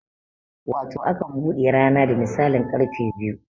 Wato akan bude rana da misalin karfe biyu